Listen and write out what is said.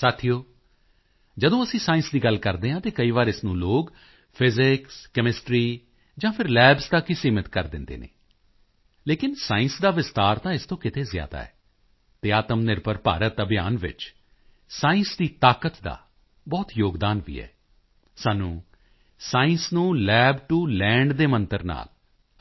ਸਾਥੀਓ ਜਦੋਂ ਅਸੀਂ ਸਾਇੰਸ ਦੀ ਗੱਲ ਕਰਦੇ ਹਾਂ ਤਾਂ ਕਈ ਵਾਰ ਇਸ ਨੂੰ ਲੋਕ ਫਿਜ਼ਿਕਸਕੈਮਿਸਟਰੀ ਜਾਂ ਫਿਰ ਲੈਬਜ਼ ਤੱਕ ਹੀ ਸੀਮਿਤ ਕਰ ਦਿੰਦੇ ਹਨ ਲੇਕਿਨ ਸਾਇੰਸ ਦਾ ਵਿਸਤਾਰ ਤਾਂ ਇਸ ਤੋਂ ਕਿਤੇ ਜ਼ਿਆਦਾ ਹੈ ਅਤੇ ਆਤਮਨਿਰਭਰ ਭਾਰਤ ਅਭਿਯਾਨ ਵਿੱਚ ਸਾਇੰਸ ਦੀ ਤਾਕਤ ਦਾ ਬਹੁਤ ਯੋਗਦਾਨ ਵੀ ਹੈ ਸਾਨੂੰ ਸਾਇੰਸ ਨੂੰ ਲੱਬ ਟੋ ਲੈਂਡ ਦੇ ਮੰਤਰ ਦੇ ਨਾਲ